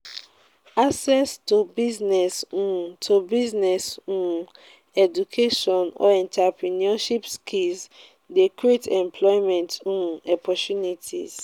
access to business um to business um education or entreprenuership skills de create employment um opportunities